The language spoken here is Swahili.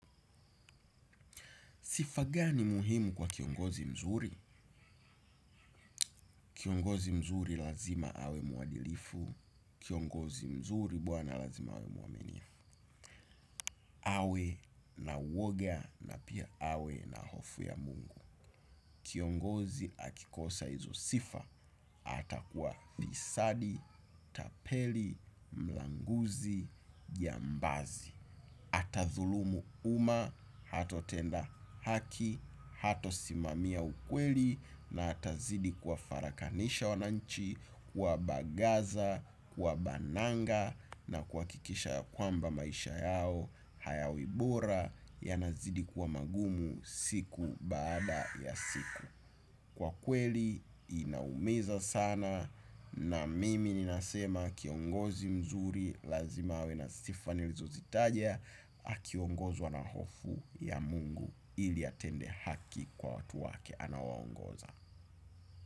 Sifa gani muhimu kwa kiongozi mzuri? Kiongozi mzuri lazima awe muadilifu. Kiongozi mzuri bwana lazima awe muamenifu. Awe na uwoga na pia awe na hofu ya mungu. Kiongozi akikosa izo sifa, atakuwa fisadi, tapeli, mlanguzi, jambazi. Ata thulumu uma, hatotenda haki, hatosimamia ukweli, na atazidi kuwafarakanisha wananchi, kwa bagaza, kwa bananga, na kuwakikisha ya kwamba maisha yao, hayawibora, yanazidi kuwa magumu siku baada ya siku. Kwa kweli inaumiza sana na mimi ni nasema kiongozi mzuri lazima awe na stifa nilizo zitaja. Akiongozwa na hofu ya mungu ili atende haki kwa watu wake anaowaongoza.